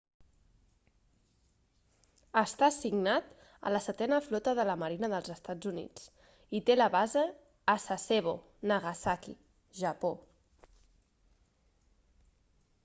està assignat a la setena flota de la marina dels estats units i té la base a sasebo nagasaki japó